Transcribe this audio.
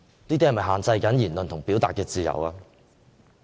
這是否會限制言論自由？